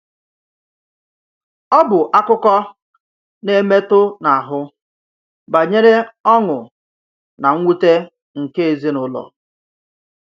Ọ bụ́ àkụ́kọ̀ nà-èmetụ̀ n’áhụ́ bànyèrè ọ̀ṅụ́ nà mwùtè nke èzìnùlọ.